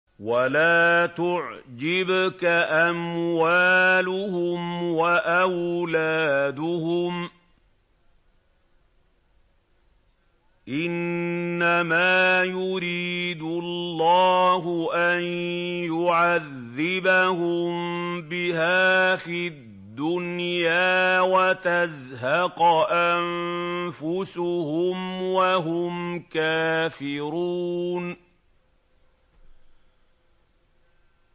وَلَا تُعْجِبْكَ أَمْوَالُهُمْ وَأَوْلَادُهُمْ ۚ إِنَّمَا يُرِيدُ اللَّهُ أَن يُعَذِّبَهُم بِهَا فِي الدُّنْيَا وَتَزْهَقَ أَنفُسُهُمْ وَهُمْ كَافِرُونَ